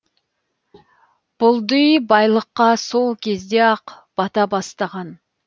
бұлди байлыққа сол кезде ақ бата бастаған